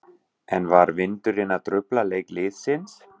En var vindurinn að trufla leik liðsins?